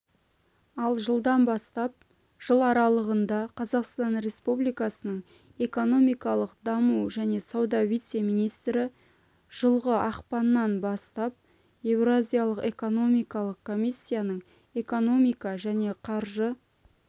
ал жылдан бастап жыл аралығында қазақстан республикасының экономикалық даму және сауда вице-министрі жылғы ақпаннан бастап еуразиялық экономикалық комиссияның экономика және қаржы